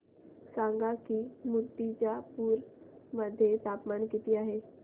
सांगा की मुर्तिजापूर मध्ये तापमान किती आहे